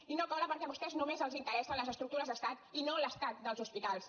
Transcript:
i no cola perquè a vostès només els interessen les estructures d’estat i no l’estat dels hospitals